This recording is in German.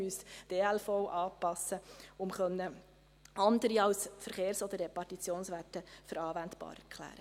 Man müsste die ELV anpassen, um andere als die Verkehrs- oder Repartitionswerte als anwendbar zu erklären.